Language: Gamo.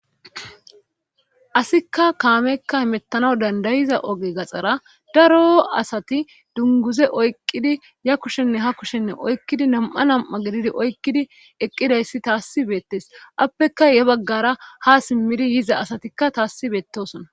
Asikka kaamekka imettanaw dandayiza oge gaxxara daro asati dunguze oyqqidi ya kushenne ha kushenne oykkidi nam'a nam'a gelidi oykkidi eqqidayssi taassi beettes appeka ya baggara ha simmidi yiza asatikka tassi beettosona.